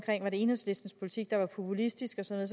enhedslistens politik jeg var populistisk og sådan